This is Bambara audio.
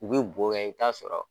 U bɛ bo kɛ i bi taa sɔrɔ